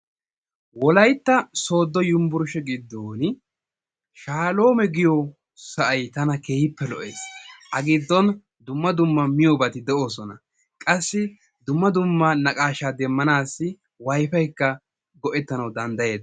Wolaytta sooddo yunbburushe giddon shaaloome giyo sa'ay tana keehippe lo'ees. A giddon dumma dumma miyobati de'oosona. Qassikka dumma dumma naqaashaa demmanaassi wayfaykka go'ettanawu danddayees.